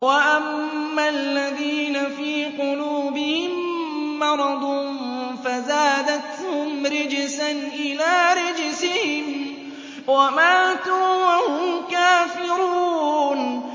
وَأَمَّا الَّذِينَ فِي قُلُوبِهِم مَّرَضٌ فَزَادَتْهُمْ رِجْسًا إِلَىٰ رِجْسِهِمْ وَمَاتُوا وَهُمْ كَافِرُونَ